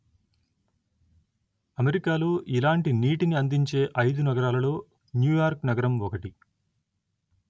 అమెరికాలో ఇలాంటి నీటిని అందించే ఐదు నగరాలలో న్యూయార్క్ నగరం ఒకటి